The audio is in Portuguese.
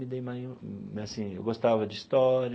Mas assim eu gostava de história,